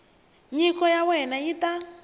nyiko ya wena yi ta